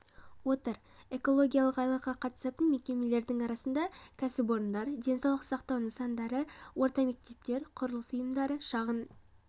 отыр экологиялық айлыққа қатысатын мекемелердің арасында кәсіпорындар денсаулық сақтау нысандары орта мектептер құрылыс ұйымдары шағын